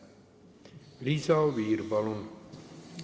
Liisa Oviir, palun!